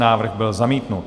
Návrh byl zamítnut.